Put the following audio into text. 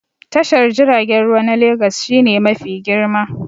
Tashar jiragen ruwa na Legas shi ne mafi girma